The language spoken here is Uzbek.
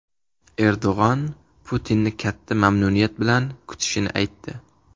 Erdo‘g‘on Putinni katta mamnuniyat bilan kutishini aytdi.